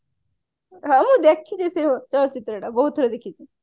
ହଁ ମୁ ଦେଖିଛି ସେ ଚଳଚିତ୍ର ଟା ବହୁତ ଥର ଦେଖିଛି